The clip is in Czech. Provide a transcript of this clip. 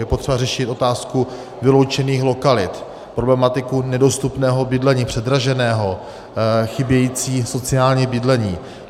Je potřeba řešit otázku vyloučených lokalit, problematiku nedostupného bydlení, předraženého, chybějící sociální bydlení.